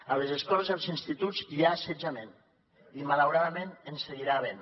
a les escoles i als instituts hi ha assetjament i malauradament n’hi seguirà havent